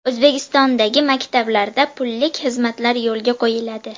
O‘zbekistondagi maktablarda pullik xizmatlar yo‘lga qo‘yiladi.